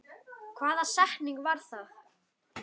Hvaða setning var það?